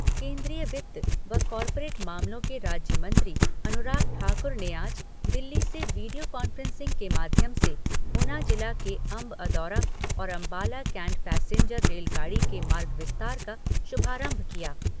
केन्द्रीय वित्त व कॉर्पोरेट मामलों के राज्य मंत्री अनुराग ठाकुर ने आज दिल्ली से वीडियो कॉन्फ्रेंसिंग के माध्यम से ऊना जिला के अंब अंदौरा और अंबाला कैंट पैसेन्जर रेलगाड़ी के मार्ग विस्तार का शुभारंभ किया।